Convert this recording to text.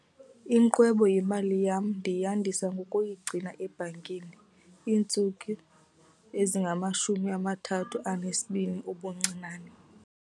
Ingqwebo yemali yam ndiyandisa ngokuyigcina ebhankini iintsuku ezingamashumi amathathu anesibini ubuncinane.